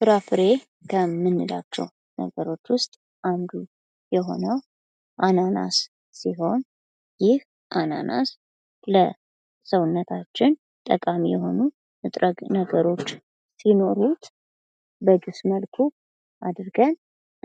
ፍራፍሬ ከምንላቸው ነገሮች ውስጥ አንዱ የሆነው አናናስ ሲሆን ይህ አናናስ ለሰውነታችን ጠቃሚ የሆኑ ንጥረነገሮች ሲኖሩት በጁስ መልኩ አድርገን